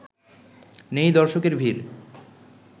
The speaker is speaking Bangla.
নেই দর্শকের ভিড়